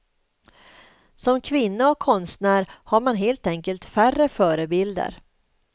Som kvinna och konstnär har man helt enkelt färre förebilder.